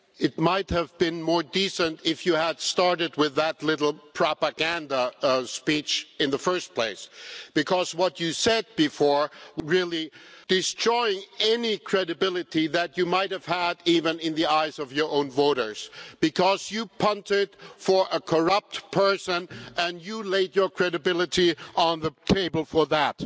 It might have been more decent if you had started with that little propaganda speech in the first place, because what you said before really destroyed any credibility that you might have had even in the eyes of your own voters, because you punted for a corrupt person and you laid your credibility on the table for that.